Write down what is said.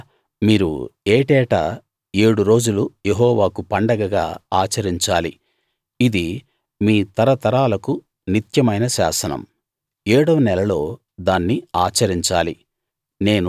అలా మీరు ఏటేటా ఏడు రోజులు యెహోవాకు పండగగా ఆచరించాలి ఇది మీ తరతరాలకు నిత్యమైన శాసనం ఏడవ నెలలో దాన్ని ఆచరించాలి